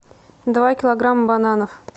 два килограмма бананов